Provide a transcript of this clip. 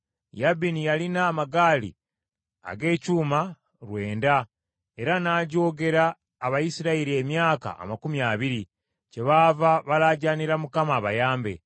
Yabini yalina amagaali ag’ekyuma lwenda, era n’ajoogera Abayisirayiri emyaka amakumi abiri, kyebaava balaajaanira Mukama abayambe.